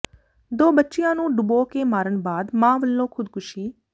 ਦੋ ਬੱਚਿਆਂ ਨੂੰ ਡੁਬੋ ਕੇ ਮਾਰਨ ਬਾਅਦ ਮਾਂ ਵੱਲੋਂ ਖ਼ੁਦਕੁਸ਼ੀ